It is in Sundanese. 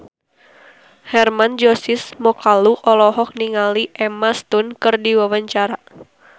Hermann Josis Mokalu olohok ningali Emma Stone keur diwawancara